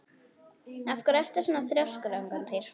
Af hverju ertu svona þrjóskur, Angantýr?